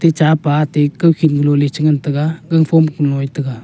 chapa ate kawkhin galo che ngan tega gang phom keku e taiga.